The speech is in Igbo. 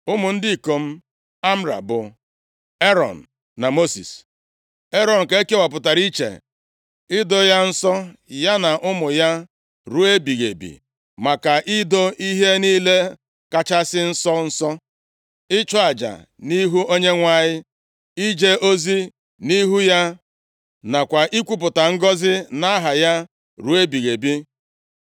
Ụmụ ndị ikom Amram bụ, Erọn na Mosis. Erọn ka e kewapụrụ iche, ido ya nsọ ya na ụmụ ya ruo ebighị ebi, maka ido ihe niile kachasị nsọ nsọ, ịchụ aja nʼihu Onyenwe anyị, ije ozi nʼihu ya nakwa ikwupụta ngọzị nʼaha ya ruo ebighị ebi.